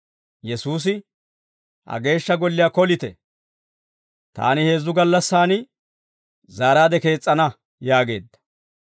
Yesuusi, «Ha Geeshsha Golliyaa kolite; taani heezzu gallassaan zaaraade kees's'ana» yaageedda.